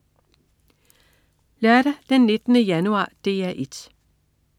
Lørdag den 19. januar - DR 1: